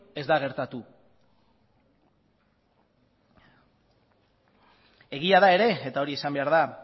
ez da gertatu egia da ere eta hori esan behar da